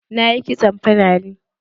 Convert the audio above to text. Na yi kitson fulani.